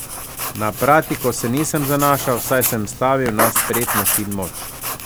Na pratiko se nisem zanašal, saj sem stavil na spretnost in moč.